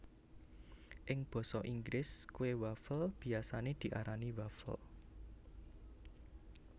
Ing basa Inggris kue wafel biyasane diarani waffle